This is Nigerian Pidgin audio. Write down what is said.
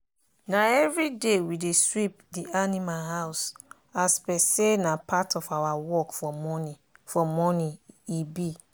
na everyday we dey sweep the animal houseas per say na part of our work for morning for morning e be.